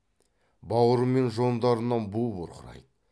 бауыр мен жондарынан бу бұрқырайды